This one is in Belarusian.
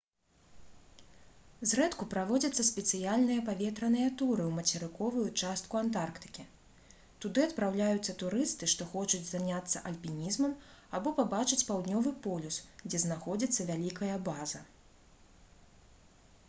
зрэдку праводзяцца спецыяльныя паветраныя туры ў мацерыковую частку антарктыкі туды адпраўляюцца турысты што хочуць заняцца альпінізмам або пабачыць паўднёвы полюс дзе знаходзіцца вялікая база